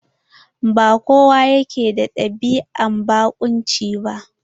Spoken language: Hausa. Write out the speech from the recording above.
Ba kowa yake da ɗabi'an barƙunci ba.